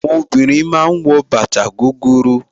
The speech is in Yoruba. Àwọn obìnrin ma ń wọ bàtà gogoro